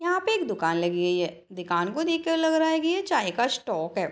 यहाँ पे एक दुकान लगी हुई है दुकान को देख के लग रहा की यह चाय का स्टाल है।